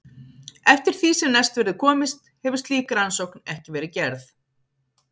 Eftir því sem næst verður komist hefur slík rannsókn ekki verið gerð.